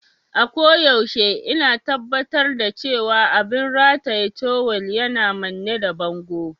A koyaushe ina tabbatar da cewa abin rataye tawul yana manne da bango.